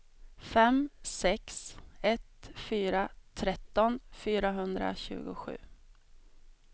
fem sex ett fyra tretton fyrahundratjugosju